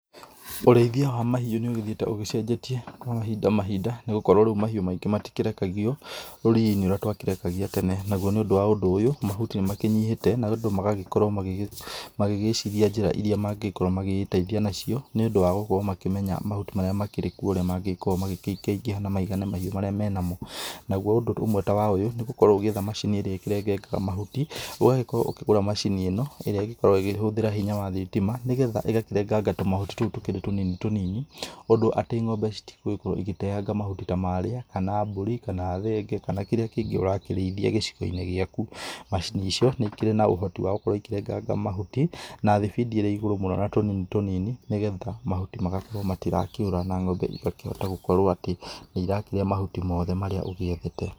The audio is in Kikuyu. Ũrĩithia wa mahiũ nĩũgĩthiĩte ũgĩcenjetie kwa mahinda mahinda, nĩgũkorwo rĩu mahiũ maingĩ matirekagio rũriĩ-inĩ ũrĩa twakĩrekagia tene. Naguo nĩũndũ wa ũndũ ũyũ, mahuti nĩmakĩnyihĩte, na andũ magagĩkorwo magĩgĩciria njĩra iria mangĩgĩkorwo magĩgĩteithia nacio, nĩũndũ wa gũkorwo magĩkĩmenya mahuti maria makĩrĩ kuo ũrĩa mangĩgĩkorwo magĩkĩingaingĩha na maigane mahiũ marĩa me namo. Naguo ũndũ ũmwe ta wa ũyũ, nĩgũkorwo ũgĩetha macini irĩa ikĩrengengaga mahuti. Ũgagĩkorwo ũkĩgũra macini ĩno, ĩrĩa ĩgĩkoragwo ĩgĩhũthĩra hinya wa thitima. Nĩgetha ĩgagĩkĩrenganga tũmahuti tũu tũkĩrĩ tũnini tũnini. Ũndũ atĩ ng'ombe citigũgĩkorwo ĩgĩteanga mahuti ta marĩa, kana mbũri, kana thenge, kana kĩrĩa kĩngĩ ũrakĩrĩithia gĩcigo-inĩ gĩaku. Macini icio, nĩikĩrĩ na ũhoti wa gũkorwo ikĩrenganga mahuti na thibidi ĩrĩ igũrũ mũno na tũnini tũnini, nĩgetha mahuti magakorwo matirakĩũra na ng'ombe igakĩhota gũkorwo atĩ nĩirakĩrĩa mahuti mothe marĩa ũgiethete.